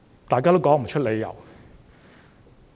大家也說不出理由。